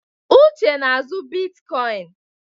Uche na-azụ bitkoịn.